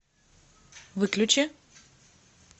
выключи